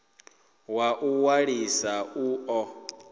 wa u ṅwalisa u ḓo